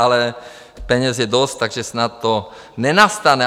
Ale peněz je dost, takže snad to nenastane.